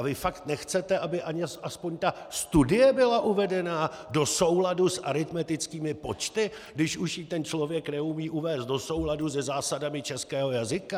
A vy fakt nechcete, aby alespoň ta studie byla uvedena do souladu s aritmetickými počty, když už ji ten člověk neumí uvést do souladu se zásadami českého jazyka?